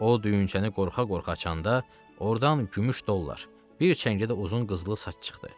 O düyünçəni qorxa-qorxa açanda, ordan gümüş dollar, bir çəngə də uzun qızılı saç çıxdı.